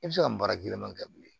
I bɛ se ka nin baara kelen kɛ bilen